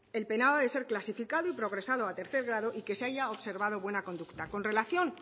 el penado ha de ser clasificado y progresado a tercer grado y que se haya observado buena conducta con relación